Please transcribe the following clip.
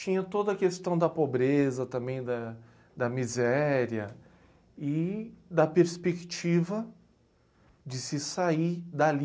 Tinha toda a questão da pobreza, também da da miséria e da perspectiva de se sair dali